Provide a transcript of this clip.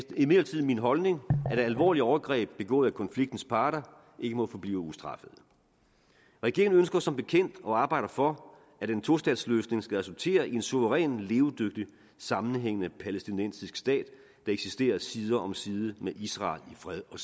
imidlertid min holdning at alvorlige overgreb begået af konfliktens parter ikke må forblive ustraffet regeringen ønsker som bekendt og arbejder for at en tostatsløsning skal resultere i en suveræn levedygtig og sammenhængende palæstinensisk stat der eksisterer side om side med israel i fred og